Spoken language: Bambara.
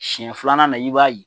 Siyɛn filanan i b'a ye.